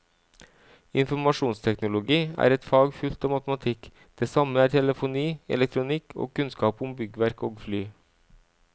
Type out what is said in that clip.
Informasjonsteknologi er et fag fullt av matematikk, det samme er telefoni, elektronikk og kunnskap om byggverk og fly.